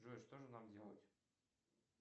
джой что же нам делать